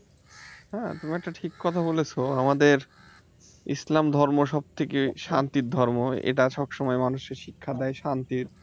হ্যাঁ, তুমি একটা ঠিক কথা বলেছ আমাদের ইসলাম ধর্ম সব থেকে শান্তির ধর্ম এটা সব সময় মানুষকে শিক্ষা দেয় শান্তির